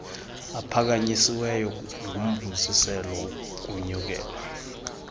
aphakanyisiweyo ngumfuziselo wokunyukela